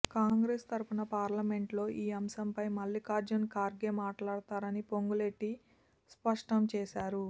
కాంగ్రెస్ తరపున పార్లమెంట్లో ఈ అంశంపై మల్లిఖార్జున్ ఖార్గే మాట్లాడతారని పొంగులేటి స్పష్టం చేశారు